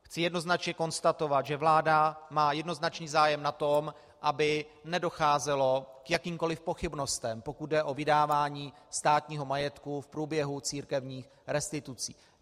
Chci jednoznačně konstatovat, že vláda má jednoznačný zájem na tom, aby nedocházelo k jakýmkoliv pochybnostem, pokud jde o vydávání státního majetku v průběhu církevních restitucí.